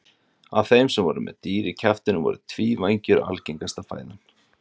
af þeim sem voru með dýr í kjaftinum voru tvívængjur algengasta fæðan